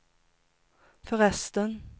förresten